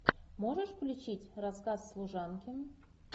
можешь включить рассказ служанки